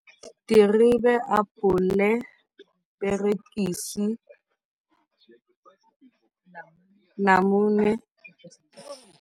Terebe, apole, perekisi, namune.